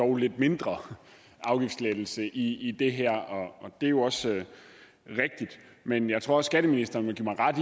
dog lidt mindre afgiftslettelse i det her og det er jo også rigtigt men jeg tror også skatteministeren vil give mig ret